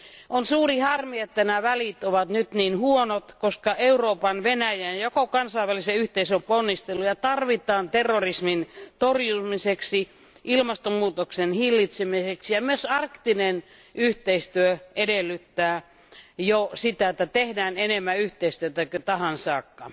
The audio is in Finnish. On suuri harmi, että nämä välit ovat nyt niin huonot, koska Euroopan, Venäjän ja koko kansainvälisen yhteisön ponnisteluja tarvitaan terrorismin torjumiseksi, ilmastonmuutoksen hillitsemiseksi, ja myös arktinen yhteistyö edellyttää jo sitä, että tehdään enemmän yhteistyötä kuin tähän saakka.